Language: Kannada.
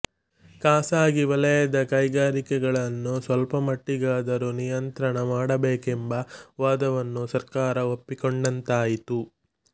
ಖಾಸಗಿ ವಲಯದ ಕೈಗಾರಿಕೆಗಳನ್ನು ಸ್ವಲ್ಪಮಟ್ಟಿಗಾದರೂ ನಿಯಂತ್ರಣ ಮಾಡಬೇಕೆಂಬ ವಾದವನ್ನು ಸರ್ಕಾರ ಒಪ್ಪಿಕೊಂಡಂತಾಯಿತು